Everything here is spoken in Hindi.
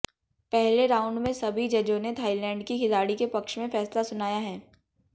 पहले राउंड में सभी जजों ने थाईलैंड की खिलाड़ी के पक्ष में फैसला सुनाया है